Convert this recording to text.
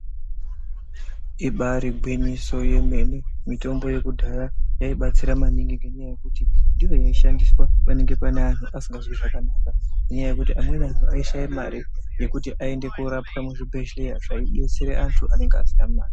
Ibari ngwinyiso yememene mitombo yekudhaya yaibatsira maningi ngenyaya yekuti ndiyo yaishandiwa panenge pane anhu anenge asikazwi zvakanaka nenyaya yekuti amweni aishaye mare yekuti aende koorapwa muzvibhehleya zvaidetsera anhu anenge asina mare.